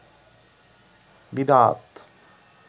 বিদআত